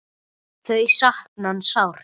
Þau sakna hans sárt.